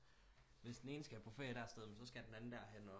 Hvis den ene skal på ferie det sted jamen så skal den anden der hen